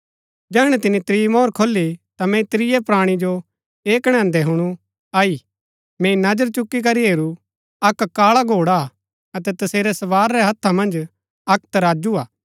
जैहणै तिनी त्रीं मोहर खोली ता मैंई त्रियै प्राणी जो ऐह कणैदैं हुणु आई मैंई नजर चुकी करी हेरू अक्क काळा घोड़ा हा अतै तसेरै सवार रै हत्था मन्ज अक्क तराजू हा